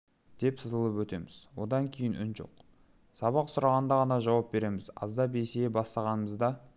деп сызылып өтеміз одан кейін бізде үн жоқ сабақ сұрағанда ғана жауап береміз аздап есейе бастағанымызда